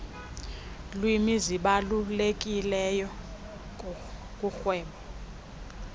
lwimi zibalulekileyo kurhwebo